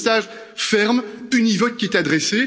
C'est le message ferme et univoque qui est adressé.